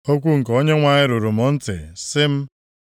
Okwu nke Onyenwe anyị ruru m ntị, sị m,